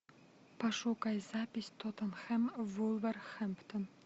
пошукай запись тоттенхэм вулверхэмптон